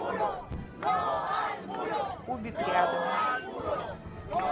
кубик рядом